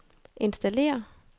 installere